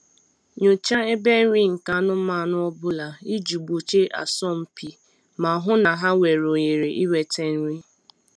Nyochaa ebe nri nke anụmanụ ọ bụla iji gbochie asọmpi ma hụ na ha nwere ohere inwete nri